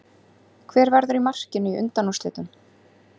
Hver verður í markinu í undanúrslitunum?